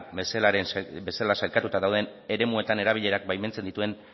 bezala sailkatuta dauden eremuetan erabilerak baimentzen dituen